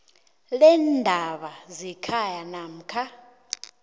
leendaba zekhaya namkha